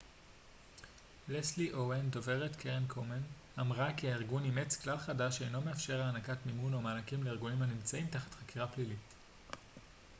לסלי אוון דוברת קרן קומן אמרה כי הארגון אימץ כלל חדש שאינו מאפשר הענקת מימון או מענקים לארגונים הנמצאים תחת חקירה פלילית